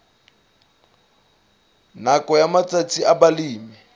nakong ya matsatsi a balemi